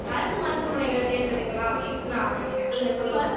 அரசு மருத்துவமனைகளை தேர்ந்தெடுக்கலாம் அப்படின்னுட்டு நான் நினைக்கிறேன் நீங்க சொல்லுங்க